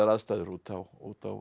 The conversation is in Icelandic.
aðstæður úti á úti á